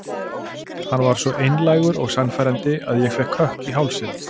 Hann var svo einlægur og sannfærandi að ég fékk kökk í hálsinn.